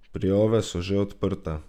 Prijave so že odprte!